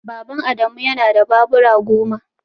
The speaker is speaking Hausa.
Baban Adamu yana da babura goma